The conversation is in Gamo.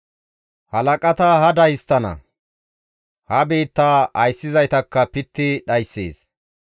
Halaqata hada histtana; ha biittaa ayssizaytakka pitti dhayssees.